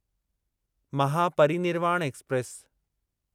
Mahaparinirvan express